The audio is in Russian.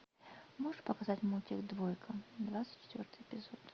можешь показать мультик двойка двадцать четвертый эпизод